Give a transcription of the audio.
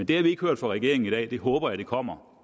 det har vi ikke hørt fra regeringen i dag det håber jeg kommer